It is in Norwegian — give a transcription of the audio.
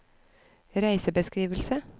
reisebeskrivelse